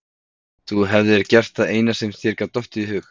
Þú hefðir gert það eina sem þér gat dottið í hug.